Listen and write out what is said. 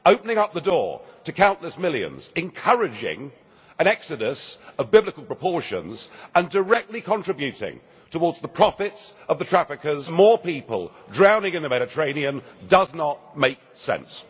Opening up the door to countless millions, encouraging an exodus of biblical proportions and directly contributing towards the profits of the traffickers, hence leading to more people drowning in the Mediterranean, does not make sense.